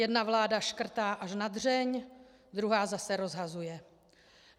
Jedna vláda škrtá až na dřeň, druhá zase rozhazuje.